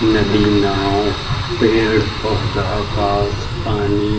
नदी नाँव पेड़ पौधा घास पानी-- .